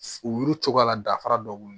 U yuru cogoya la dafara dɔ ye